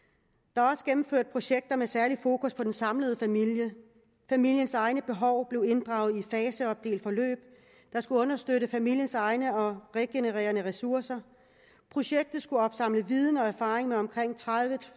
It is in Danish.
der er også gennemført projekter med særlig fokus på den samlede familie familiens egne behov blev inddraget i et faseopdelt forløb der skulle understøtte familiens egne og regenererende ressourcer projektet skulle opsamle viden og erfaring med omkring tredive